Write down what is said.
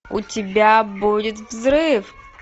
у тебя будет взрыв